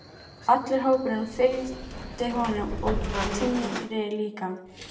Allur hópurinn fylgdi honum og Týri líka!